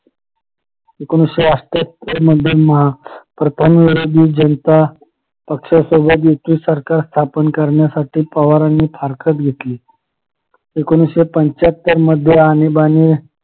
एकोणीशे अष्ठ्यातर मध्ये प्रथम विरोधी जनता पक्षासोबत युती सरकार स्थापना करण्यासाठी पवारांनी फारकत घेतली एकोणीशे पंच्याहत्तर मध्ये आणीबाणी